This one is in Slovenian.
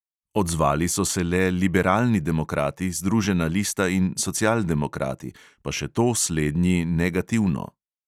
Odzvali so se le liberalni demokrati, združena lista in socialdemokrati, pa še to slednji negativno.